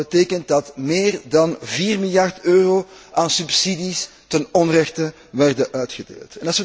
Dat betekent dat meer dan 4 miljard euro aan subsidies ten onrechte werden uitgedeeld.